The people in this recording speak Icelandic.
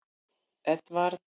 Edvard